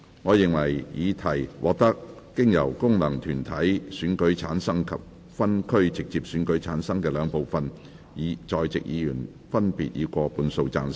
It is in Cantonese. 我認為議題獲得經由功能團體選舉產生及分區直接選舉產生的兩部分在席議員，分別以過半數贊成。